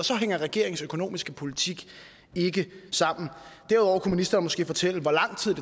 så hænger regeringens økonomiske politik ikke sammen derudover kunne ministeren måske fortælle hvor lang tid